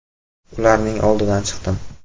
Ularning oldidan chiqdim.